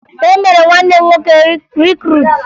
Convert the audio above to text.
E mere nwanne m nwoke rikruutu